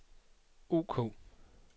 ok